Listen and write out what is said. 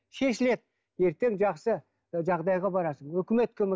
шешіледі ертең жақсы жағдайға барасың үкімет көмек